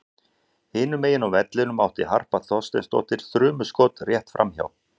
Hinum megin á vellinum átti Harpa Þorsteinsdóttir þrumuskot rétt framhjá.